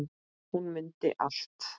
Hún mundi allt.